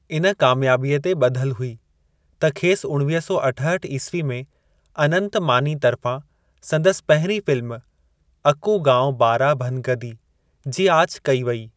इन कामियाबीअ ते ॿधलु हुई त खेसि उणिवीह सौ अठहठि ईस्वी में अनंतु मानी तर्फ़ां संदसि पहिरीं फ़िल्म अकु गावं बारा भनगदी जी आछ कई वई।